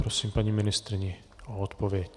Prosím paní ministryni o odpověď.